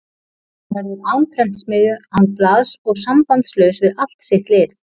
Hann verður án prentsmiðju, án blaðs og sambandslaus við allt sitt lið.